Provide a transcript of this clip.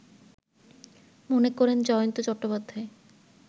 মনে করেন জয়ন্ত চট্টোপাধ্যায়